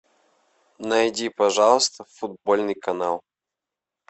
найди пожалуйста футбольный канал